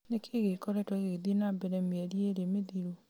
nĩ kĩĩ gĩkoretwo gĩgĩthiĩ na mbere mĩeri ĩĩrĩ mĩthiru